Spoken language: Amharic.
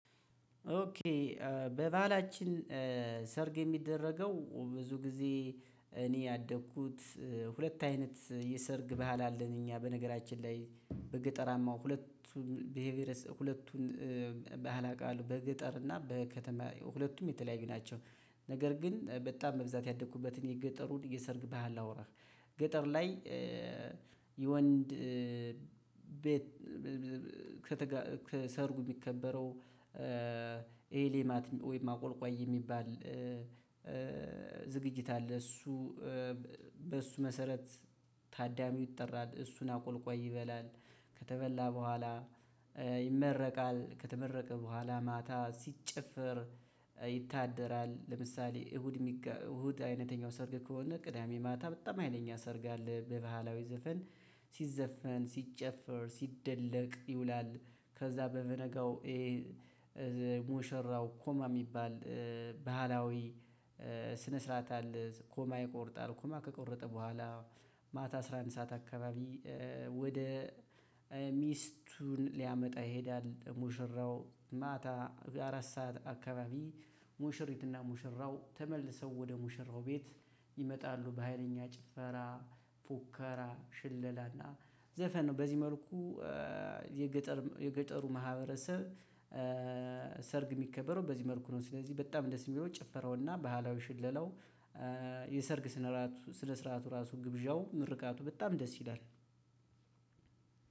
ኦኬ በባህላችን ሰርግ የሚደረገው ብዙ ጊዜ እኔ ያደግኩት ሁለት አይነት የሰርግ ባህል አለን እኛ በነገራችን ላይ በገጠራማው ሁለቱ ብሄር ቡኤረሰብ ሁለቱን ባህል አቃለሁ በገጠር እና በከተማ ሁለቱም የተለያዩ ናቸው። ነገር ግን በጣም በብዛት ያደኩበትን የገጠሩን የሰርግ ባህል ላውራህ። ገጠር ላይ የወንድ ቤት ከ ሰርጉ የሚከበረው ኤ ሌማት ወይም አቆልቋይ የሚባል ዝግጅት አለ። እሱ ብሱ መሰረት ታዳሚው ይጠራል እሱን አቆልቋይ ይበላል። ከተበላ ብኋላ ይመረቃል ከተመረቀ ብኋላም ማታ ሲጨፈር ይታደራል። ለምሳሌ እሁድ የሚጋ አይነተኛው ሰርግ ከሆነ ቅዳሜ ማታ በጣም ህይለኛ ሰርግ አለ። በባህላዊ ዘፈን ሲዘፈን ሲጨፈር ሲደለቅ ይውላል። ከዛ በበነጋው ሙሽራው ሆማ የሚባል ባህላዊ ስነ ስርዓት አለ። ሆማ ይቆርጣል ሆማ ከቆረጠ ቦኋላ ማታ አስራ አንድ ሰዓት አካባቢ ወደ ሚስቱን ሊያመጣ ይሄዳል። ሙሽራው ማታ አራት ሰዓት አካባቢ ሙሽሪትና ሙሽራው ተመልሰው ወደ ሙሽራው ቤት ይመጣሉ። በሃይለኛ ጭፈራ ፉከራ ሽለላና ዘፈን ነው። በዚህ መልኩ የገጠር የገጠሩ ማህበረሰብ ሰርግ የሚከበረው ብዚህ መልኩ ነው። ስለዚህ በጣም ደስ የሚለው ጭፈራውና ባህላኢ ሽለላው የሰርግ ስነራቱ ስነ ስርዓቱ ራሱ ግብዣው ምርቃቱ በጣም ደስ ይላል።